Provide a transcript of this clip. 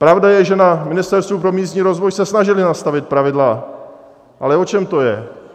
Pravda je, že na Ministerstvu pro místní rozvoj se snažili nastavit pravidla, ale o čem to je?